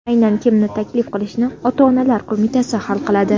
Aynan kimni taklif qilishni ota-onalar qo‘mitasi hal qiladi.